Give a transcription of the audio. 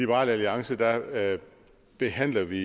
liberal alliance behandler vi